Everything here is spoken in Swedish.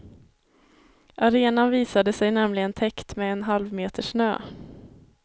Arenan visade sig nämligen täckt med en halv meter snö.